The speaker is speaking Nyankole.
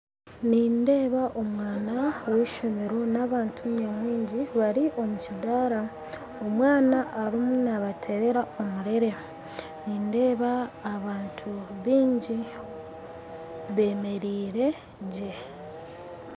Nindeeba omwana weishomero n'abantu nyamwingi bari omukidaara. Omwana arimu nabaterera omurere, nindeeba abantu baingi bemereire gye.